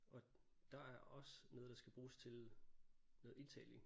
Og der er også noget der skal bruges til noget indtaling